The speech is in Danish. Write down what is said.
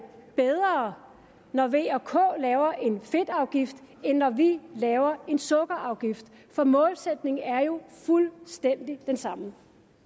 bedre når v og k laver en fedtafgift end når vi laver en sukkerafgift målsætningen er jo fuldstændig den samme